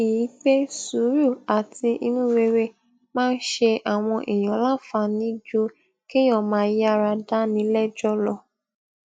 i pé sùúrù àti inú rere máa ń ṣe àwọn èèyàn láǹfààní ju kéèyàn máa yára dáni léjó lọ